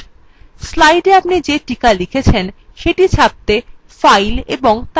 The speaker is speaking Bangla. slidesএ আপনি যে টিকা লিখেছেন সেটি ছাপতে file এবং তারপর printএ click করুন